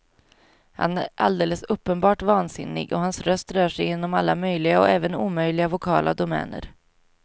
Han är alldeles uppenbart vansinnig, och hans röst rör sig inom alla möjliga och även omöjliga vokala domäner.